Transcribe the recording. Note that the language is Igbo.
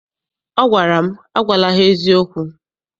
Ọ gwara m, agwala ha eziokwu!